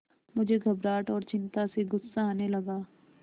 मुझे घबराहट और चिंता से गुस्सा आने लगा